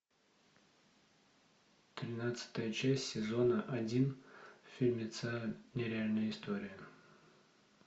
тринадцатая часть сезона один фильмеца нереальная история